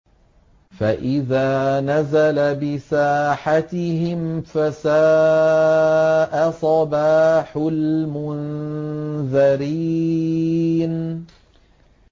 فَإِذَا نَزَلَ بِسَاحَتِهِمْ فَسَاءَ صَبَاحُ الْمُنذَرِينَ